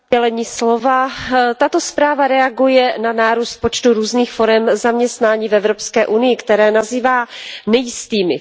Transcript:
Pane předsedající, tato zpráva reaguje na nárůst počtu různých forem zaměstnání v Evropské unii, které nazývá nejistými.